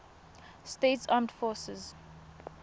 states armed forces